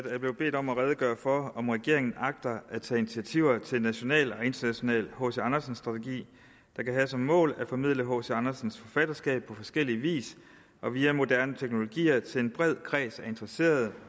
jeg blevet bedt om at redegøre for om regeringen agter at tage initiativer til en national og international hc andersen strategi der kan have som mål at formidle hc andersens forfatterskab på forskellig vis og via moderne teknologier til en bred kreds af interesserede